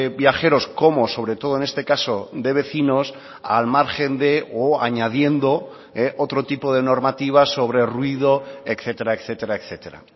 viajeros como sobre todo en este caso de vecinos al margen de o añadiendo otro tipo de normativas sobre ruido etcétera etcétera etcétera